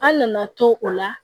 An nana to o la